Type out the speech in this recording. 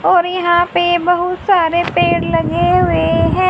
और यहां पे बहुत सारे पेड़ लगे हुए हैं।